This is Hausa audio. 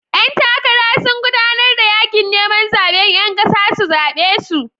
Ƴan takara sun gudanar da yakin neman zaben 'yan kasa su zabe su.